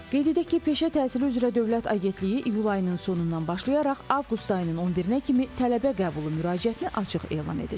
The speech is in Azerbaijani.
Qeyd edək ki, Peşə Təhsili üzrə Dövlət Agentliyi iyul ayının sonundan başlayaraq avqust ayının 11-nə kimi tələbə qəbulu müraciətini açıq elan edəcək.